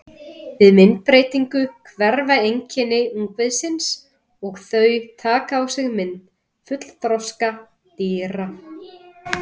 Við myndbreytingu hverfa einkenni ungviðisins og þau taka á sig mynd fullþroska dýra.